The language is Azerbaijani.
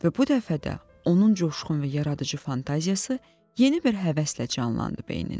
Və bu dəfə də onun coşqun və yaradıcı fantaziyası yeni bir həvəslə canlandı beynində.